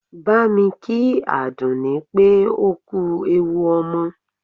Bámi kí Àdùnní pé ó kú ewu ọmọ!